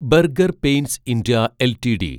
burger paints India LTD